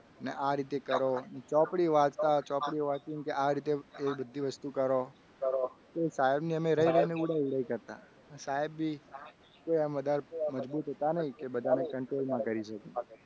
અને આ રીતે કરો ચોપડી વાંચતા ચોપડી વાંચીને કે આ રીતે બધી વસ્તુ કરો. તે સાહેબને અમે રહી રહીને ઉડાવ ઉડાવ કરતા સાહેબ બી કેમ એમ વધારે મજબૂત હતા નહીં. કે બધાને control માં કરી શકે.